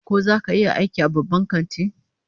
Ko zaka iya aiki a babban kanti?